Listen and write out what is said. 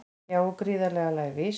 Já og gríðarlega lævís